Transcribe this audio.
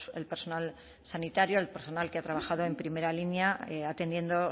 el personal sanitario al personal que ha trabajado en primera línea atendiendo